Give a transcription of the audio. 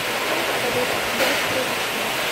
салют когда это произошло